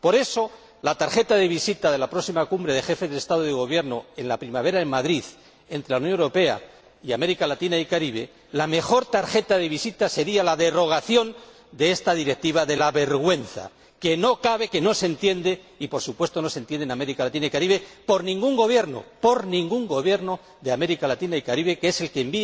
Por eso, la tarjeta de visita de la próxima Cumbre de Jefes de Estado y de Gobierno en la primavera, en Madrid, entre la Unión Europea y América Latina y el Caribe, la mejor tarjeta de visita sería la derogación de esta Directiva de la vergüenza, que no cabe y que no se entiende —y, por supuesto, no se entiende en América Latina ni en el Caribe— por ningún Gobierno, por ningún Gobierno de América Latina y el Caribe, que